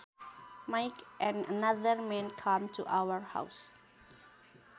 Mike and another man came to our house